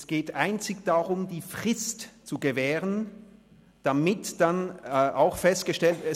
Es geht einzig darum, die Frist zu gewähren, damit dann auch festgestellt ist…